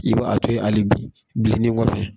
I b'a a to ye ali bilenni in kɔfɛ